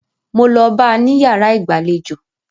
Mo lọ bá a ní yàrá ìgbàlejò.